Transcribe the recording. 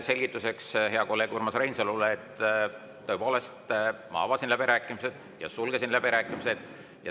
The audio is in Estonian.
Selgituseks heale kolleegile Urmas Reinsalule, et ma tõepoolest avasin läbirääkimised ja sulgesin läbirääkimised.